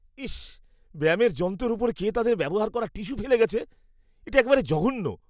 ইস, ব্যায়ামের যন্ত্রের উপর কে তাদের ব্যবহার করা টিস্যু ফেলে গেছে? এটা একেবারে জঘন্য।